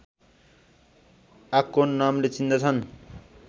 आकोन नामले चिन्दछन्